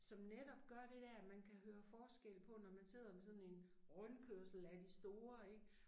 Som netop gør det dér at man kan høre forskel på når man sidder med sådan en rundkørsel af de store ik